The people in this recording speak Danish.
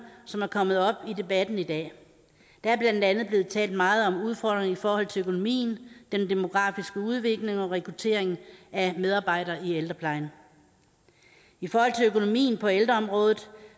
som er kommet op i debatten i dag der er blandt andet blevet talt meget om udfordringen i forhold til økonomien den demografiske udvikling og rekrutteringen af medarbejdere i ældreplejen i forhold til økonomien på ældreområdet